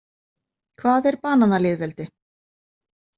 Hvað er bananalýðveldi?